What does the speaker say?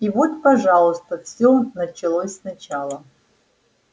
и вот пожалуйста все началось сначала